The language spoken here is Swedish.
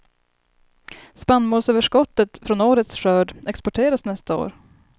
Spannmålsöverskottet från årets skörd exporteras nästa år.